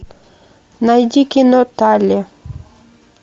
найди кино талли